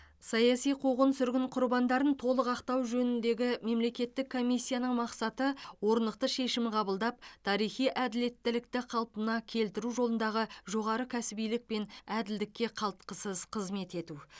саяси қуғын сүргін құрбандарын толық ақтау жөніндегі мемлекеттік комиссияның мақсаты орнықты шешім қабылдап тарихи әділеттілікті қалпына келтіру жолындағы жоғары кәсібилік пен әділдікке қалтқысыз қызмет ету